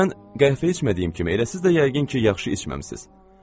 Mən qəhvə içmədiyim kimi elə siz də yəqin ki, yaxşı içməmisiz.